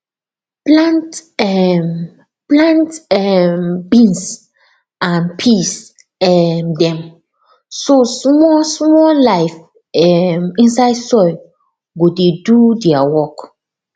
plant um plant um beans and peas um dem so small small life um inside soil go dey do their work